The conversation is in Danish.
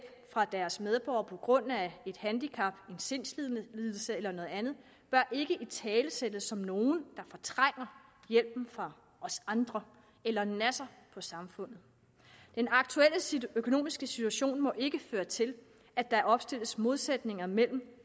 fra deres medborgere på grund af et handicap en sindslidelse eller noget andet bør ikke italesættes som nogle der fortrænger hjælpen fra os andre eller nasser på samfundet den aktuelle økonomiske situation må ikke føre til at der opstilles modsætninger mellem det